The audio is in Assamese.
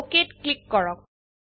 OKত ক্লিক কৰক